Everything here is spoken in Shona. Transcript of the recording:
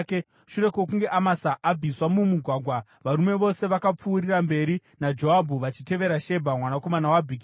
Shure kwokunge Amasa abviswa mumugwagwa, varume vose vakapfuurira mberi naJoabhu vachitevera Shebha mwanakomana waBhikiri.